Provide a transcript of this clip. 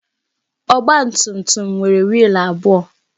Ọgbatumtum nwere wiil abụọ.